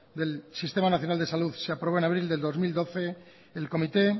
del sistema nacional de salud se aprobó en abril del dos mil doce el comité